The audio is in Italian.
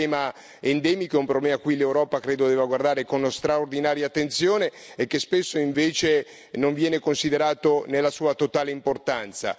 È un problema endemico, è un problema a cui l'Europa credo debba guardare con straordinaria attenzione e che spesso, invece, non viene considerato nella sua totale importanza.